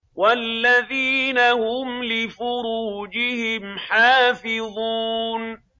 وَالَّذِينَ هُمْ لِفُرُوجِهِمْ حَافِظُونَ